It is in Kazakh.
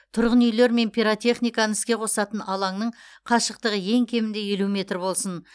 тұрғын үйлер мен пиротехниканы іске қосатын алаңның қашықтығы ең кемінде елу метр болсын